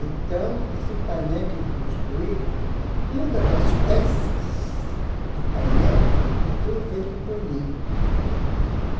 Então, esse painel que construí, todas as peças do painel, é tudo feito por mim.